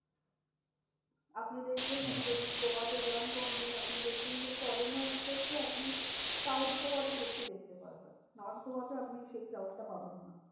আপনি দেখবেন আচ্ছা যদি গোয়াতে যান, কোনোদিনও আপনি দেখবেন যে, foreigners দেরকে আপনি south গোয়া তে বেশি দেখতে পারবেন। north গোয়াতে আপনি সেই crowd টা পাবেন না।